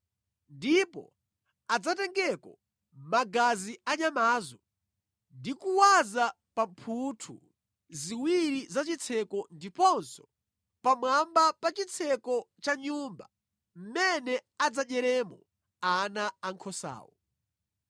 Ndipo adzatengeko magazi anyamazo ndi kuwaza pa mphuthu ziwiri za chitseko ndiponso pamwamba pa chitseko cha nyumba mmene adzadyeremo ana ankhosawo.